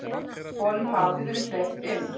Honum hafi verið hleypt inn.